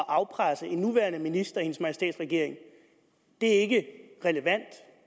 afpresse en nuværende minister i hendes majestæts regering er ikke relevant